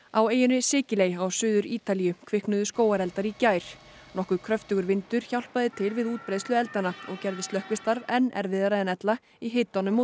á eyjunni Sikiley á Suður Ítalíu kviknuðu skógareldar í gær nokkuð kröftugur vindur hjálpaði til við útbreiðslu eldanna og gerði slökkvistarf enn erfiðara en ella í hitanum og